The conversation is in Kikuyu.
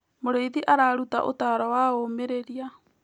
Mũrĩithi araruta ũtaaro wa ũmĩrĩria.